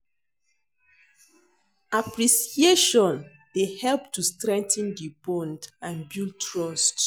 Appreciatioin dey help to strengthen di bond and build trust.